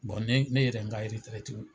Bon ne ne yɛrɛ ye n ka yɛrɛeɛti